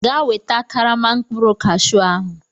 Gaa weta karama mkpụrụ Kashu ahụ!